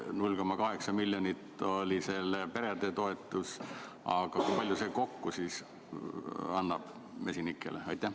0,8 miljonit oli see perede toetus, aga kui palju see kokku annab mesinikele?